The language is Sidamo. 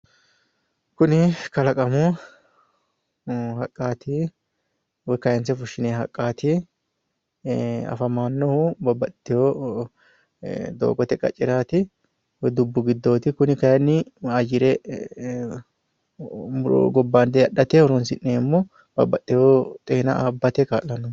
Kuni kalaqamu haqqaati woyi kayinse fushshinoyi haqqaati. Afamannohu babbaxxitiwo doogote qacceraati woyi dubbu giddooti. Kuni kayinni ayyire gobbayidi adhate horoonsi'neemmo babbaxxiwo xeena abbate kaa'lanno.